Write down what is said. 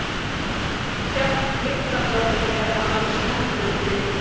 Sjálft lyklaborðið er annars hefðbundið